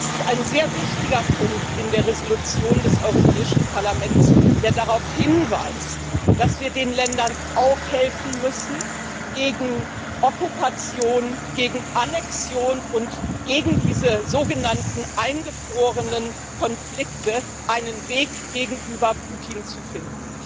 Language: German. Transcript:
Es ist ein sehr wichtiger Punkt in der Entschließung des Europäischen Parlaments, der darauf hinweist, dass wir den Ländern auch helfen müssen, gegen Okkupation, gegen Annexion und gegen diese sogenannten eingefrorenen Konflikte einen Weg gegenüber Putin zu finden.